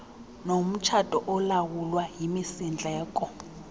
nomtshato olawulwa yimisindleko